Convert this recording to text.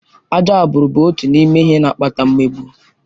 Ajọ agbụrụ bụ otu n'ime ihe na-akpata mmegbu.